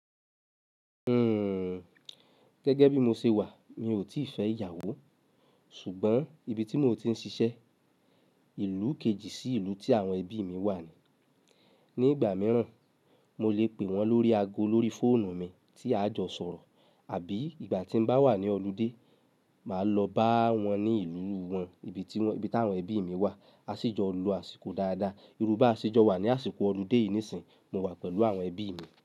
Hmm, gẹ́gẹ́ bí mo ṣe wà, mi ò tí fẹ́ ìyàwó. Ṣùgbọ́n ibi tí mò ń ti ń ṣiṣẹ́, ìlú kejì sí ìlú tí àwọn ẹbí mi wà ni. Ni ìgbà mìíràn, mo lè pè wọ́n lórí ago lórí fóònù mi tí a jọ sọ̀rọ̀. Àbí ìgbà tín bá wà ní ọlidé, máa lọ bá wọn ní ìlú wọn, ibi tí àwọn ẹbí mi wà. A sì jọ lọ àsìkò dáadáa. Irú bá à ṣe jọ wà ní àsìkò ọlidé yìí níìsín, mo wà pẹ̀lú àwọn ẹbí mi.